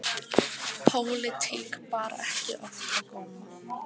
Pólitík bar ekki oft á góma.